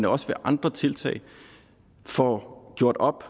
også ved andre tiltag får gjort op